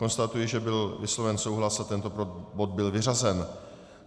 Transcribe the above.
Konstatuji, že byl vysloven souhlas a tento bod byl vyřazen.